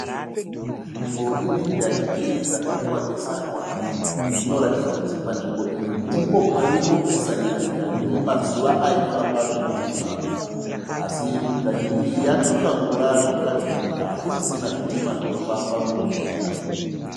Nzvimbo ine njanji dzakaitwa besanwa. Zvino ratidza kuti panzvimbo iyi ndipo paimbo pesanira njanji mazuva aifamba zvitima. Así njanji iyi yatsvuka ngura zvinoratidza kuti hakusisina zvitima zvinofamba munzvimbo iyi .